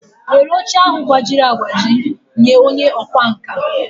Were oche ahụ gbajiri agbaji nye onye ọkwá nkà!